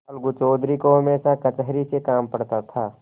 अलगू चौधरी को हमेशा कचहरी से काम पड़ता था